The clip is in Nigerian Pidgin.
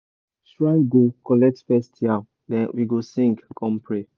shrine go collect first yam then we go sing come pray.